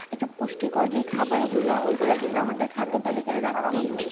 একটা পুষ্টিকর যে খাবারগুলা, ওইগুলা কিন্তু আমাদের খাদ্যতালিকায় রাখতেই হয়।